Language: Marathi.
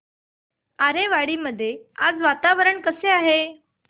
आरेवाडी मध्ये आज वातावरण कसे आहे